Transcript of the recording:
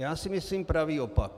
Já si myslím pravý opak.